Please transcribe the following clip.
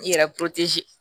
I yɛrɛ